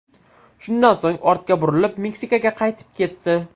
Shundan so‘ng ortga burilib, Meksikaga qaytib ketdi.